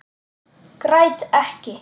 Græt ekki.